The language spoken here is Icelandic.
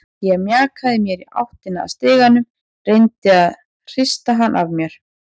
Ég mjakaði mér í áttina að stiganum, reyndi að hrista hana af mér.